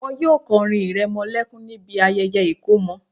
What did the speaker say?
Wọn yóò kọrin ìrẹmọlẹ́kún níbi ayẹyẹ ìkọmọ